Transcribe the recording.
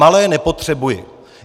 Malé nepotřebuji.